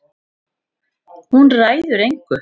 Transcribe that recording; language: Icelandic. Hún ræður engu.